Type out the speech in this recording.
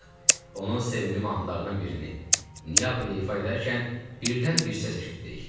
Onun sevimli mahnılarından birini Neapoli ifa edərkən birdən bir səs eşitdik.